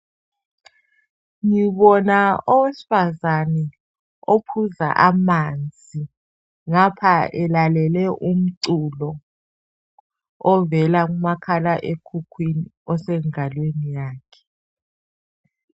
Ngibona owesifazane ophuza amanzi ngapha elalele umculo ovela kumakhalekhukhwini osengalweni yakhe.